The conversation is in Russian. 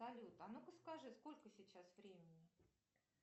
салют а ну ка скажи сколько сейчас времени